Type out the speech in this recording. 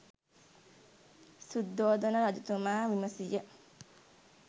සුද්ධෝදන රජතුමා විමසීය.